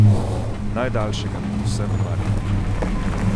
Najdaljšega med vsemi maratoni.